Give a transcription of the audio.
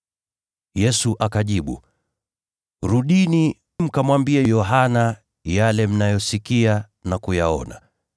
Yesu akajibu, “Rudini mkamwambie Yohana yale mnayosikia na kuyaona: